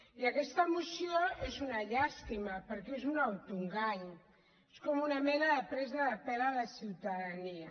i aquesta moció és una llàstima perquè és un autoengany és com una mena de presa de pèl a la ciutadania